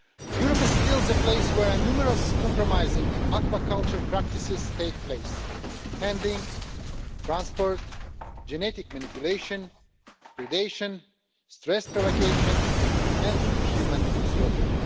Europe is still a place where numerous compromising aquaculture practices take place handling, transport, genetic manipulation, predation, stress provocation and inhuman slaughter.